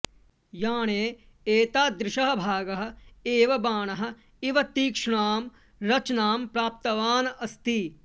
याणे एतादृशः भागः एव बाणः इव तीक्ष्णां रचनां प्राप्तवान् अस्ति